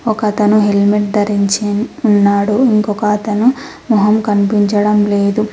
ఒకతను హెల్మెట్ ధరించి ఉన్నాడు ఇంకొకతను మొహం కనిపించడం లేదు.